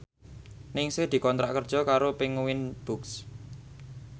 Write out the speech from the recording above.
Ningsih dikontrak kerja karo Penguins Books